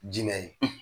Jimɛ ye